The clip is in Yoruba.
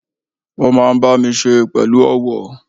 Ó máa n bá mi se pẹ̀lú ọ̀wọ̀